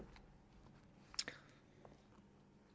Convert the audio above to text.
er